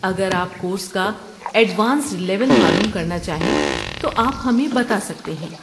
اگر آپ کورس کا ایڈوانسڈ لیول معلوم کرنا چاہیں تو آپ ہمیں بتا سکتے ہیں۔